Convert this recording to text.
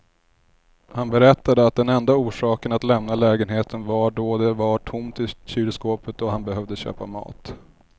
Han berättade att den enda orsaken att lämna lägenheten var då det var tomt i kylskåpet och han behövde köpa mat.